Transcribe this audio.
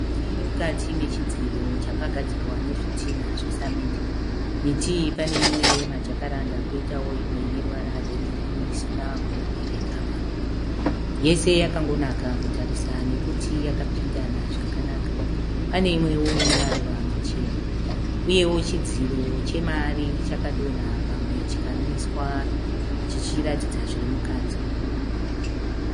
Miti iri mukati mechidziro chakagadzirwa nezvitinha zvesamende. Miti iyi pane imwe yemajakaranda kwoitawo imwe ine ruvara rwegirini isina kubereka maruva. Yese yakangonaka kutarisa nekuti yakapindana zvakanaka. Pane imwewo ine maruva machena, uyewo chidziro chemari chakadonha pamwe chikamiswa chichiratidza zviri mukati.